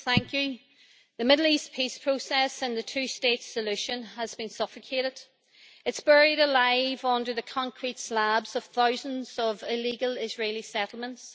Madam President, the Middle East peace process and the two-state solution has been suffocated. It is buried alive under the concrete slabs of thousands of illegal Israeli settlements.